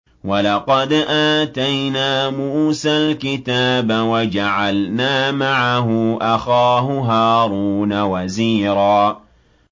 وَلَقَدْ آتَيْنَا مُوسَى الْكِتَابَ وَجَعَلْنَا مَعَهُ أَخَاهُ هَارُونَ وَزِيرًا